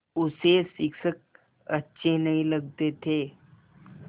उसे शिक्षक अच्छे नहीं लगते थे